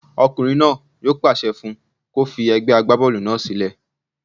Ọkùnrin náà yóò pàṣẹ fún un kó fi egbẹ́ agbábọ́ọ̀lù náà sílẹ̀